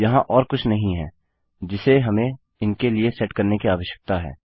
यहाँ और कुछ नहीं है जिसे हमें इनके लिए सेट करने की आवश्यकता है